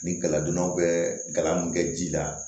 Ni galadonnaw bɛ gala mun kɛ ji la